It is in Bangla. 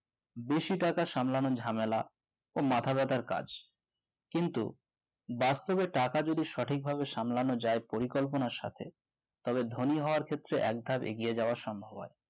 বেশি টাকা সামলানো ঝামেলা ও মাথা ব্যাথার কাজ কিন্তু বাস্তবে টাকা যদি সঠিকভাবে সামলানো যায় পরিকল্পনা সাথে তবে ধনী হওয়ার ক্ষেত্রে এক ধাপ এগিয়ে যাওয়া সম্ভব।